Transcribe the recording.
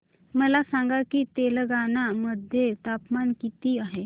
मला सांगा की तेलंगाणा मध्ये तापमान किती आहे